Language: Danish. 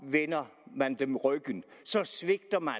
vender man dem ryggen så svigter man